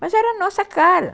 Mas era a nossa cara.